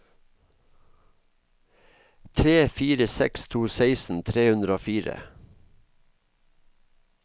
tre fire seks to seksten tre hundre og fire